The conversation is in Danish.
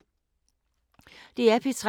DR P3